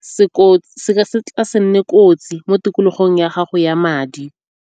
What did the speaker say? se nne kotsi mo tikologong ya gago ya madi.